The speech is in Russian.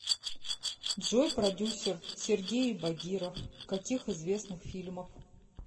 джой продюсер сергеи багиров каких известных фильмов